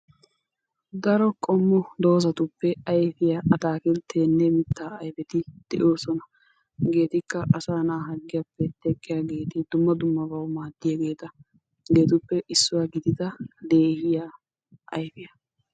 Daro qommo doozatuppe ayfiya ataakiltteenne mittaa ayfeti de'oosona. Hegeetikka asaa na'aa harggiyappe teqqiya dumma dummabawu maaddiyageeta hegeetuppe issuwa gidida leegiya ayfiya.